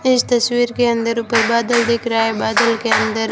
इस तस्वीर के अंदर ऊपर बादल दिख रहा है बादल के अंदर--